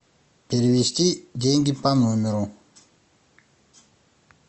перевести деньги по номеру